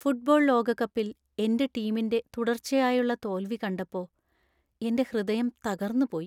Football ലോകകപ്പിൽ എന്‍റെ ടീമിന്‍റെ തുടർച്ചയായുള്ള തോൽവി കണ്ടപ്പോ എന്‍റെ ഹൃദയം തകർന്നുപോയി .